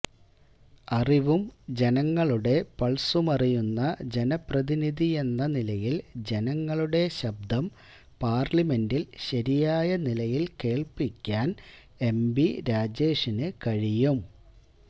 അറിവും ജനങ്ങളുടെ പൾസുമറിയുന്ന ജനപ്രതിനിധിയെന്ന നിലയിൽ ജനങ്ങളുടെ ശബ്ദം പാർലിമെന്റിൽ ശരിയായ നിലയിൽ കേൾപ്പിക്കാൻ എം ബി രാജേഷിന് കഴിയും